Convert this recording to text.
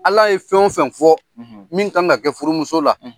Ala ye fɛn o fɛn fɔ min kan ka kɛ furumuso la